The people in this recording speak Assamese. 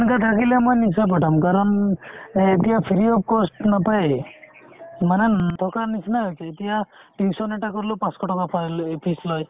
সেনেকুৱা থাকিলে মই নিশ্চয় পঠাম কাৰণ এ~ এতিয়া free of cost নাপায়ে মানে ন থকাৰ নিচিনা হৈছে এতিয়া tuition এটা কৰিলেও পাঁচশ টকা পাৰিলে এই fees লয়